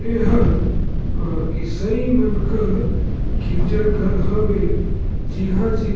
एहा अ इशाई मन कर गिरजा घर हवे जिहा-जिहा--